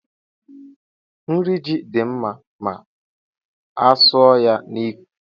Nri ji dị mma ma a suọ ya n'ikwe